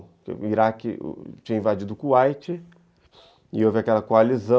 O Iraque tinha invadido o Kuwait e houve aquela coalizão